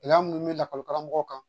Gɛlɛya minnu bɛ lakɔli karamɔgɔ kan